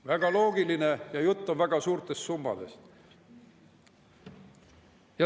Väga loogiline, ja jutt on väga suurtest summadest.